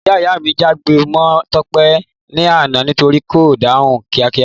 Ìyá ìyá mi jágbe mọ Tọ́pẹ́ l'ana nítorípé kò dáhùn kíá kíá